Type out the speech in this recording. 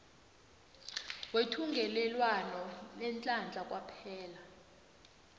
wethungelelwano leenhlahla kwaphela